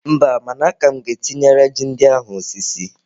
Mba, mana aka m ga-etinyere ji ndị ahụ osisi.